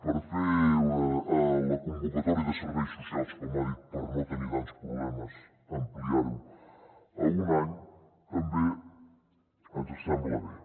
per fer la convocatòria de serveis socials com ha dit per no tenir tants problemes ampliar ho a un any també ens sembla bé